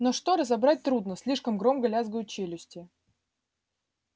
но что разобрать трудно слишком громко лязгают челюсти